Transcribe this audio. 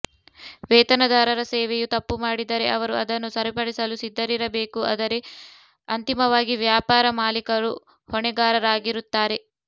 ವೇತನದಾರರ ಸೇವೆಯು ತಪ್ಪು ಮಾಡಿದರೆ ಅವರು ಅದನ್ನು ಸರಿಪಡಿಸಲು ಸಿದ್ಧರಿರಬೇಕು ಆದರೆ ಅಂತಿಮವಾಗಿ ವ್ಯಾಪಾರ ಮಾಲೀಕರು ಹೊಣೆಗಾರರಾಗಿರುತ್ತಾರೆ